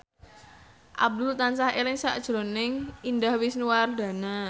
Abdul tansah eling sakjroning Indah Wisnuwardana